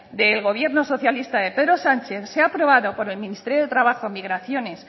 del gobierno socialista de pedro sánchez se ha aprobado por el ministerio de trabajo migraciones